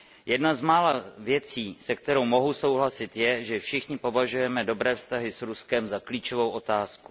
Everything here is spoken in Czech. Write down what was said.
Jedna z mála věcí, se kterou mohu souhlasit, je, že všichni považujeme dobré vztahy s Ruskem za klíčovou otázku.